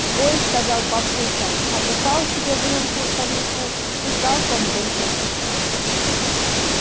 ой сказал папулька набухал себе в рюмку коньяку и залпом выпил